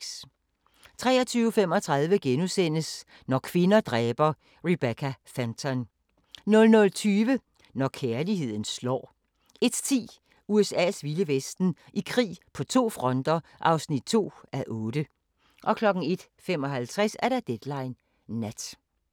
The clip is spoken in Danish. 23:35: Når kvinder dræber - Rebecca Fenton * 00:20: Når kærligheden slår 01:10: USA's vilde vesten: I krig på to fronter (2:8) 01:55: Deadline Nat